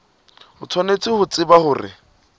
o tshwanetse ho tseba hore